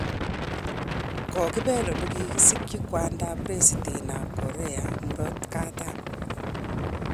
kokibel ole kikisikyin kwandab president ab Korea murot katam.